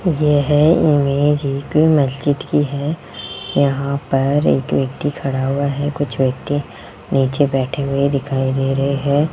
यह इमेज एक मस्जिद की है यहां पर एक व्यक्ति खड़ा हुआ है कुछ व्यक्ति नीचे बैठे हुए दिखाई दे रहे हैं।